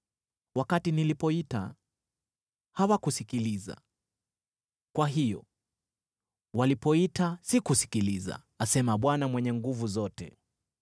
“ ‘Wakati nilipoita, hawakusikiliza, kwa hiyo walipoita, sikusikiliza,’ asema Bwana Mwenye Nguvu Zote.